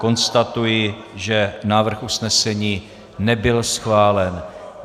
Konstatuji, že návrh usnesení nebyl schválen.